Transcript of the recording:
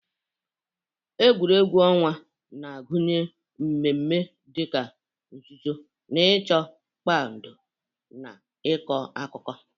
Egwuregwu ọnwa na-agụnye mmemme dị ka nzuzo-na ịchọ, mkpado, na ịkọ akụkọ.